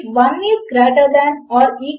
నేను యూజర్నేమ్ మరియు పాస్వర్డ్ అని చెపుతాను